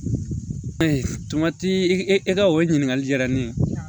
tamati e ka o ɲininkali jara ne ye